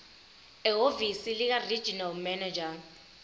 ehhovisi likaregional manager